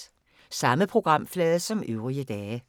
Samme programflade som øvrige dage